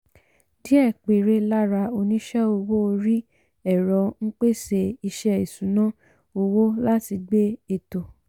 díẹ̀ péré lára oníṣẹ́ owó orí ẹ̀rọ ń pèsè iṣẹ́ ìṣúnná owó láti gbé ètò.